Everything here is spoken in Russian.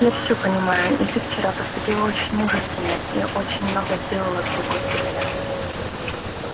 я всё понимаю и ты вчера поступила очень мужественно и очень много сделала для госпиталя